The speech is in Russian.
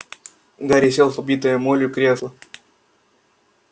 гарри сел в побитое молью кресло